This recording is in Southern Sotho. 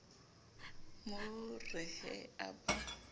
mo re he a ba